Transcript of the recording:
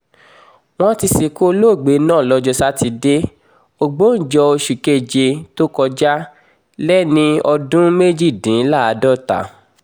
wọ́n ti sìnkú olóògbé náà lọ́jọ́ sátidé ògbóǹjọ oṣù keje tó kọjá lẹ́ni ọdún méjìdínláàádọ́ta